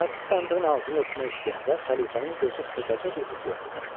Çərçi sandığın ağzını örtmək istəyəndə xəlifənin gözü xırdaca bir qutuya sataşdı.